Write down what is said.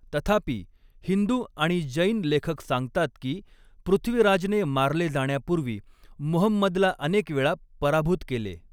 तथापि, हिंदू आणि जैन लेखक सांगतात की पृथ्वीराजने मारले जाण्यापूर्वी मुहम्मदला अनेक वेळा पराभूत केले.